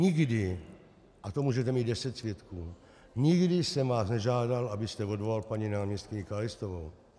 Nikdy, a to můžete mít deset svědků, nikdy jsem vás nežádal, abyste odvolal paní náměstkyni Kalistovou.